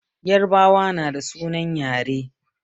Yarbawa na da sunan yare